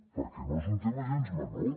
perquè no és un tema gens menor